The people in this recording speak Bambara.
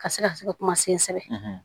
Ka se ka se ka kuma sensɛ